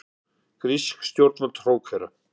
Grísk stjórnvöld hrókera